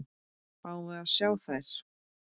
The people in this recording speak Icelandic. Fáum við að sjá þær?